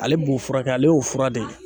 Ale b'o furakɛ, ale y'o fura de ye.